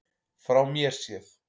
Frá mér séð.